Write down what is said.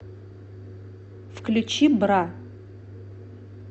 включи бра